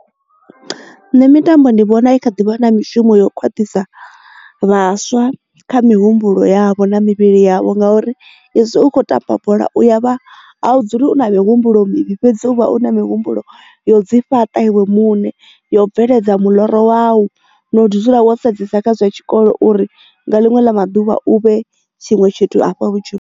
Nṋe mitambo ndi vhona i kha ḓivha na mishumo yo khwaṱhisa vhaswa kha mihumbulo yavho na mivhili yavho ngauri izwi u kho tamba bola uya vha dzuli u na mihumbulo ḽo mivhi fhedzi uvha o na mihumbulo yo dzi fhaṱa iwe muṋe yo bveledza miḽoro wau no dzula wo sedzesa kha zwa tshikolo uri nga linwe la maduvha u vhe tshiṅwe tshithu afha vhutshilo.